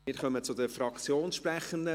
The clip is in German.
Wir kommen zu den Fraktionssprechenden.